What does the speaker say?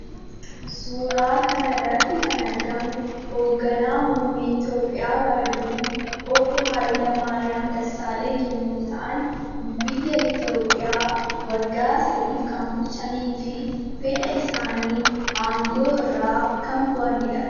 Suuraa kanarratti kan argamu hoogganaa muummee Itioopiyaa bara durii obbo hayilamaariyaam dessalenyi yommuu ta'an biyya itoopiyaa waggaa sadiif kan bulchaniifi fedha isaaniin aangoo irraa kan bu'anidha.